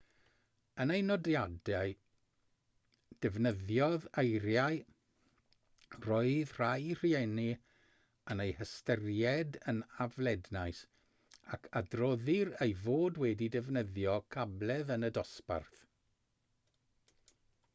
yn ei nodiadau defnyddiodd eiriau roedd rhai rhieni yn eu hystyried yn aflednais ac adroddir ei fod wedi defnyddio cabledd yn y dosbarth